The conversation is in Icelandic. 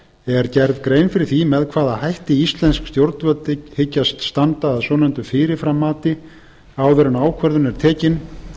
er gerð grein fyrir því með hvaða hætti íslensk stjórnvöld hyggjast standa að svonefndu fyrirframmati áður en ákvörðun er tekin